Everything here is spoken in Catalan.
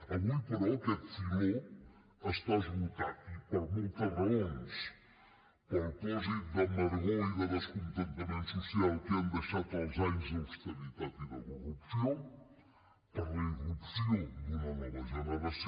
avui però aquest filó està esgotat i per moltes raons pel pòsit d’amargor i descontentament social que han deixat els anys d’austeritat i de corrupció per la irrupció d’una nova generació